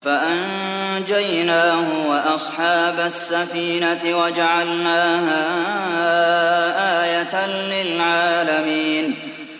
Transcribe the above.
فَأَنجَيْنَاهُ وَأَصْحَابَ السَّفِينَةِ وَجَعَلْنَاهَا آيَةً لِّلْعَالَمِينَ